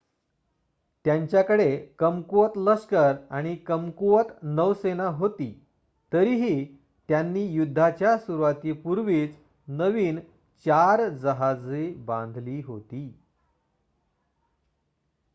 त्यांच्याकडे कमकुवत लष्कर आणि कमकुवत नौसेना होती तरीही त्यांनी युद्धाच्या सुरूवातीपूर्वीच नवीन 4 जहाजे बांधली होती